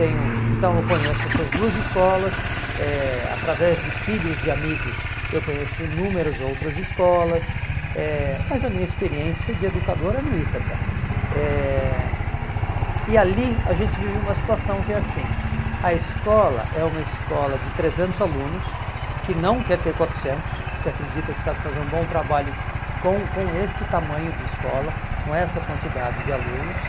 tenho, então eu conheço essas duas escolas eh através de filhos de amigos eu conheço inúmeras outras escolas eh mas a minha experiência de educador é no Ítaca eh e ali a gente vive uma situação que é assim a escola é uma escola de trezentos alunos que não quer ter quatrocentos que acredita que sabe fazer um bom trabalho com com este tamanho de escola com essa quantidade de alunos